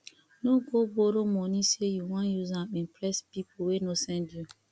no go borrow moni sey yu wan use am impress pipo wey no send you